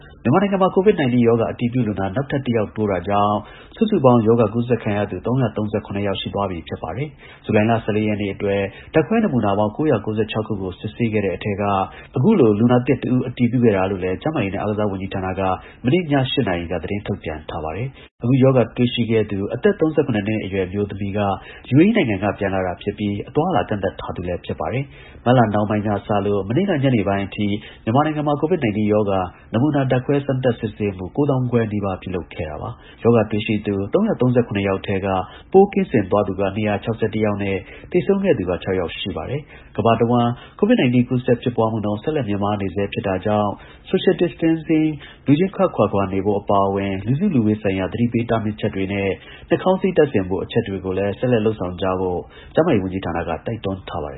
မြန်မာနိုင်ငံမှာ COVID-19 ရောဂါ အတည်ပြုလူနာ နောက်ထပ် ၁ ယောက်တိုးတာကြောင့် စုစုပေါင်း ရောဂါကူးစက်ခံရသူ ၃၃၇ ယောက် ရှိသွားပြီ ဖြစ်ပါတယ်။ ဇူလိုင်လ ၁၄ ရက် နေ့အတွက် ဓါတ်ခွဲနမူနာပေါင်း ၉၉၆ ခုကို စစ်ဆေးခဲ့တဲ့ အထဲက အခုလို လူနာသစ် တဦးအတည်ပြုခဲ့တာလို့လည်း ကျန်းမာရေးနဲ့ အားကစားဝန်ကြီးဌာနက မနေ့ ည ၈ နာရီက သတင်းထုတ်ပြန်ထားပါတယ်။ အခုရောဂါပိုးတွေ့ရှိတဲ့ အသက် ၃၇ နှစ်အရွယ်အမျိုးသမီးက ယူအေအီးနိုင်ငံက ပြန်လာတာဖြစ်ပြီး အသွားအလာ ကန့်သတ်ထားသူ လည်း ဖြစ်ပါတယ်။ မတ်လ နှောင်းပိုင်းက စလို့ မနေ့က အင်္ဂါနေ့ညပိုင်းအထိ မြန်မာနိုင်ငံမှာ COVID- 19 ရောဂါ နမူနာ ဓါတ်ခွဲ စမ်းသပ် စစ်ဆေးမှု ကိုး သောင်းခွဲ နီးပါး ပြုလုပ်ခဲ့တာပါ။ ရောဂါတွေ့ရှိသူ ၃၃၇ ဦးထဲက ပိုးကင်းစင်သွားသူက ၂၆၁ ယောက်နဲ့ သေဆုံးခဲ့သူက ခြောက်ယောက် ရှိပါတယ်။ ဇူလိုင် ၁၄ ရက်နေ့အတွက် စောင့်ကြည့်လူနာ အသစ်ကတော့ ၂၉ ယောက်ရှိပါတယ်။ ကမ္ဘာတဝှမ်း COVID – 19 ကူးစက်ဖြစ်ပွားမှုနှုန်း ဆက်လက်မြင့်မားနေဆဲ ဖြစ်တာကြောင့် Social Distancingလူချင်းခပ်ခွာခွာနေဖို့ အပါအဝင် လူစုလူဝေးဆိုင်ရာ သတိပေးတားမြစ်ချက်တွေနဲ့ နှာခေါင်းစည်း တပ်ဆင်ဖို့ အချက်တွေကို ဆက်လက် လုပ်ဆောင်ကြဖို့ ကျန်းမာရေး ဝန်ကြီးဌာနက တိုက်တွန်းထားပါတယ